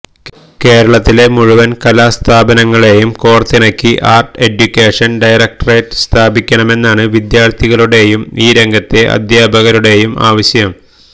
കേരളത്തിലെ മുഴുവന് കലാ സ്ഥാപനങ്ങളെയും കോര്ത്തിണക്കി ആര്ട്ട് എഡ്യൂക്കേഷന് ഡയറക്ടറേറ്റ് സ്ഥാപിക്കണമെന്നാണ് വിദ്യാര്ഥികളുടെയും ഈ രംഗത്തെ അധ്യാപകരുടെയും ആവശ്യം